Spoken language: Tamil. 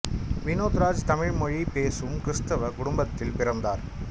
வினோத் ராஜ் தமிழ் மொழி பேசும் கிறிஸ்தவ குடும்பத்தில் பிறந்தார்